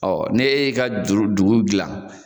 ne e y'e ka juru dugu dilan